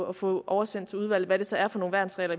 at få oversendt til udvalget altså hvad det så er for nogle værnsregler